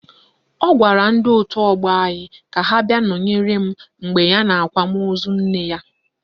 Ọ gwara ndị otu ọgbọ anyị ka ha bịa nọnyere m mgbe ya n'akwamozu nne ya